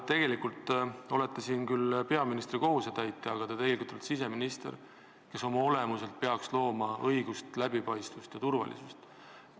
Te olete täna ju siin küll peaministri kohusetäitjana, aga tegelikult te olete siseminister, kes oma olemuselt peaks looma õigust, läbipaistvust ja turvalisust.